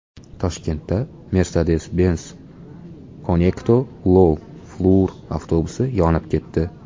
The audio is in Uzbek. Toshkentda Mercedes-Benz Conecto Low Floor avtobusi yonib ketdi.